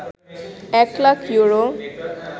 এক লাখ ইউরো